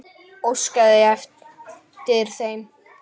Óskaði eftir þeim?